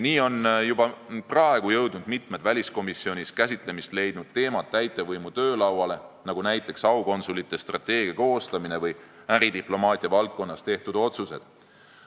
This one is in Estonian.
Nii on juba praegu jõudnud mitmed väliskomisjonis käsitlemist leidnud teemad täitevvõimu töölauale, näiteks aukonsulite strateegia koostamine või äridiplomaatia valdkonnas tehtud otsused.